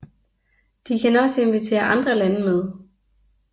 De kan også invitere andre lande med